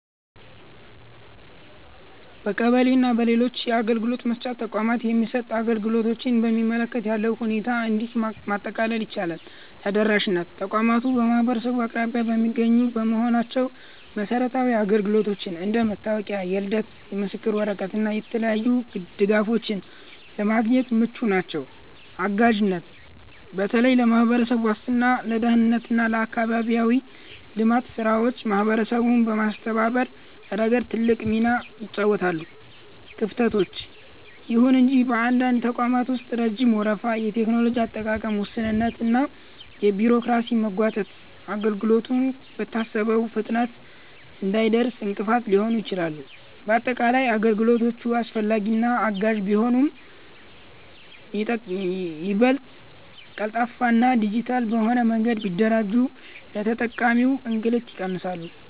በቀበሌ እና በሌሎች የአገልግሎት መስጫ ተቋማት የሚሰጡ አገልግሎቶችን በሚመለከት ያለውን ሁኔታ እንዲህ ማጠቃለል ይቻላል፦ ተደራሽነት፦ ተቋማቱ በማህበረሰቡ አቅራቢያ የሚገኙ በመሆናቸው መሰረታዊ አገልግሎቶችን (እንደ መታወቂያ፣ የልደት ምስክር ወረቀት እና የተለያዩ ድጋፎች) ለማግኘት ምቹ ናቸው። አጋዥነት፦ በተለይ ለማህበራዊ ዋስትና፣ ለደህንነት እና ለአካባቢያዊ ልማት ስራዎች ማህበረሰቡን በማስተባበር ረገድ ትልቅ ሚና ይጫወታሉ። ክፍተቶች፦ ይሁን እንጂ በአንዳንድ ተቋማት ውስጥ ረጅም ወረፋ፣ የቴክኖሎጂ አጠቃቀም ውስንነት እና የቢሮክራሲ መጓተት አገልግሎቱ በታሰበው ፍጥነት እንዳይደርስ እንቅፋት ሲሆኑ ይታያሉ። ባጠቃላይ፣ አገልግሎቶቹ አስፈላጊና አጋዥ ቢሆኑም፣ ይበልጥ ቀልጣፋና ዲጂታል በሆነ መንገድ ቢደራጁ የተጠቃሚውን እንግልት ይቀንሳሉ።